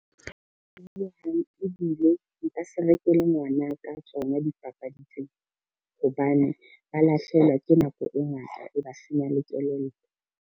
Ho hang ebile nka se rekele ngwana ka tsona dipapadi tseo, hobane ba lahlehelwa ke nako e ngata, e ba senya le kelello.